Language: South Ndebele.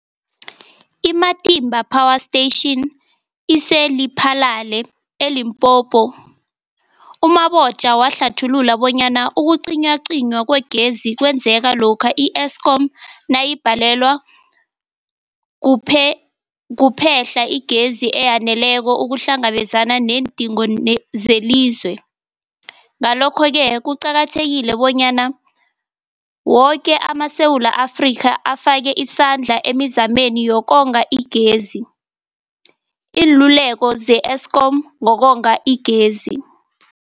I-Matimba Power Station ise-Lephalale, eLimpopo. U-Mabotja wahlathulula bonyana ukucinywacinywa kwegezi kwenzeka lokha i-Eskom nayibhalelwa kuphe-hla igezi eyaneleko ukuhlangabezana neendingo zelizwe. Ngalokho-ke kuqakathekile bonyana woke amaSewula Afrika afake isandla emizameni yokonga igezi. Iinluleko ze-Eskom ngokonga igezi.